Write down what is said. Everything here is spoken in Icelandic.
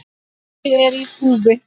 Mikið er í húfi.